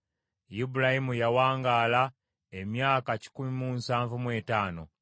Ibulayimu yawangaala emyaka kikumi mu nsanvu mu etaano.